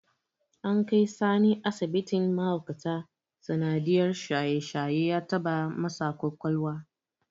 An kai Sani asibitin mahaukata sanadiyyar shaye-shaye ya taɓa masa ƙwaƙwalwa.